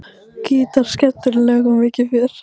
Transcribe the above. Gítar, skemmtileg lög og mikið fjör.